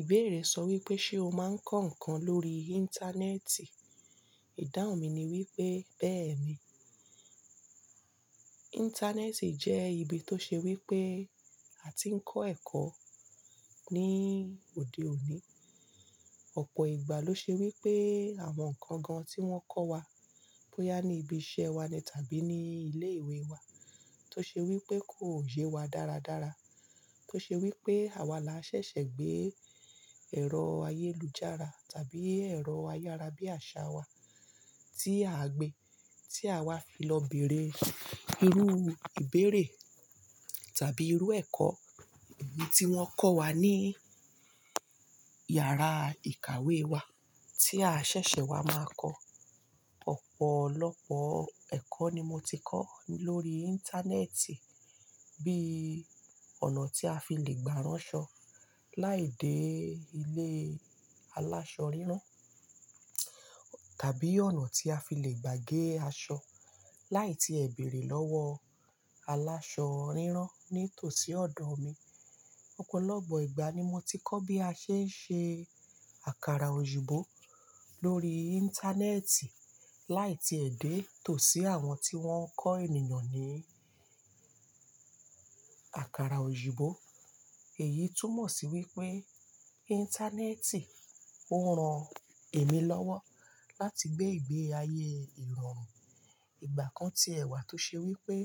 Ìbéèrè sọ wípé, ṣe ó máa ń kọ ǹkan lórí Íńtánẹ́ẹ̀tì? Ìdáhun mi ni wípé, bẹ́ẹ̀ ni. Íńtánẹ́ẹ̀tì jẹ́ ibi tó ṣe wípé a ti ń kọ́ ẹ̀kọ́ ní òde òní. Ọ̀pọ̀ ìgbà ló ṣe wípé àwọn ǹkan gan-an tí wón kọ́ wa, bóyá ní ibi iṣẹ́ wa ni tàbí ní ilé ìwé wa, tó ṣe wípé kò ye wa dáradára. Tó ṣe wípé àwa la ṣẹ̀ṣẹ̀ gbé ẹ̀rọ ayélujára tàbí ẹ̀rọ ayárabíàṣá wa tí a gbé, tí àwa fi lọ bèèrè irú ìbéèrè tàbí irú ẹ̀kọ́ eyi tí wón kọ́ wa ní yàrá ìkàwé wa tí a ṣẹ̀ṣẹ̀ wá máa kọ́. Ọ̀pọ̀lọpọ̀ ẹ̀kọ́ ni mo ti kọ́ lórí Íńtánẹ́ẹ̀tì, bí i ọ̀nà tí a fi le gbárán ṣọ láì dé ilé aláṣọ rírán, tàbí ọ̀nà tí a fi le gbà gé aṣọ láì tí è berẹ lọ́wọ aláṣọ rírán ní tòsí ọ̀dọ̀ mi. Ọ̀pọ̀lọpọ̀ ìgbà ni mo ti kọ́ bí a ṣe ń ṣe àkàrà òyinbo lórí Íńtánẹ́ẹ̀tì láì tí è dé tòsí àwọn tí wón ń kọ́ ènìyàn ní àkàrà òyinbo Èyí túmọ̀ sí wípé Íńtánẹ́ẹ̀tì ó ran èmi lọ́wọ́ láti gbé ìgbé ayé ìrọ̀rùn. Ìgbà kan ti ẹ̀wà tó ṣe wípé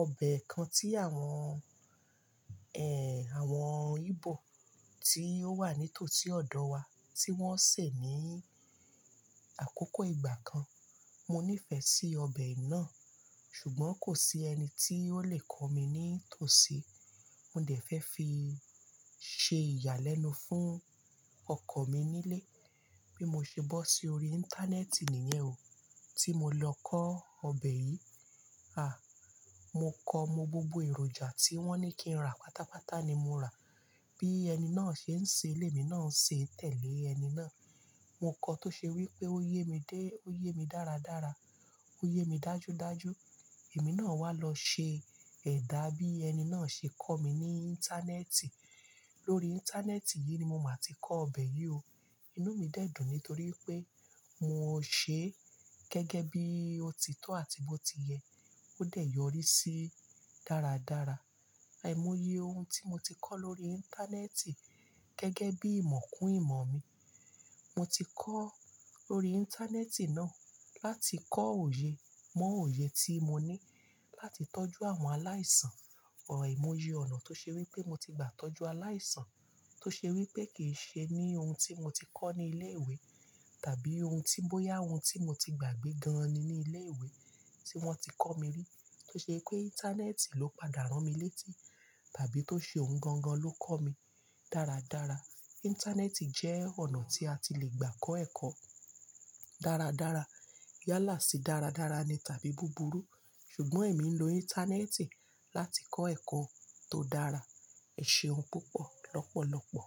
ọbẹ̀ kan tí àwọn, ẹ́, àwọn Íbò tí ó wà nítòsí ọ̀dọ̀ wa tí wón sè ní àkókò ìgbà kan, mo nífẹ̀ẹ́ sí ọbẹ̀ náà, ṣùgbọ́n kò sí ẹni tí ó le kọ mí ní tòsí. Mo dẹ̀ fẹ́ fi ṣe ìyàlẹ́nu fún ọkọ̀ mi nílé. Bí mo ṣe bọ́ sí orí Íńtánẹ́ẹ̀tì nìyẹn o, tí mo lọ kọ́ ọbẹ̀ yìí. À! Mo kọ mo gbogbo èròjà tí wón ní kí n rà pátápátá ni mo rà. Bí ẹni náà ṣe ń ṣe, lémi náà ń ṣe tẹ̀lé ẹni náà. Mo kọ tó ṣe wípé ó yé mi dé, ó yé mi dáradára, ó yé mi dájudáju. Èmi náà wá lọ ṣe ẹ̀dá bí ẹni náà ṣe kọ̀ mí ní Íńtánẹ́ẹ̀tì. Lórí Íńtánẹ́ẹ̀tì yìí ni mo máa ti kọ ọbẹ̀ yìí o. Inú mi dẹ́dùn nítorí pé mo sè é gẹ́gẹ́ bí ó ti tọ́ àti bó ti yẹ, ó dẹ̀ yọrí sí dáradára. Aimoye ohun tí mo ti kọ́ lórí Íńtánẹ́ẹ̀tì gẹ́gẹ́ bí ìmọ̀kún ìmọ̀ mi. Mo ti kọ́ lórí Íńtánẹ́ẹ̀tì náà láti kọ́ òye, mọ òye tí mo ní láti tọ́jú àwọn aláìsàn. Aimoye ọ̀nà tó ṣe wípé mo ti gbà tọ́jú aláìsàn tó ṣe wípé kì í ṣe ní ohun tí mo ti kọ́ ní ilé ìwé tàbí ohun tí bóyá ohun tí mo ti gbàgbé gan-an ni ní ilé ìwé tí wọ́n ti kọ́ mi rí tó ṣe pé Íńtánẹ́ẹ̀tì ló padà rán mi létí tàbí tó ṣe ohun gan-an ló kọ́ mi dáradára. Íńtánẹ́ẹ̀tì jẹ́ ọ̀nà tí a ti le gbà kọ́ ẹ̀kọ́ dáradára. Yálà sí dáradára ni tàbí búburú, ṣùgbọ́n èmi ń lo Íńtánẹ́ẹ̀tì láti kọ́ ẹ̀kọ́ tó dára. Eseun púpọ̀ lọ́pọ̀lọpọ̀.